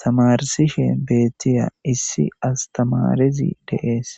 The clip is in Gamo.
tamarsishe beettiya issi astamarezi de7es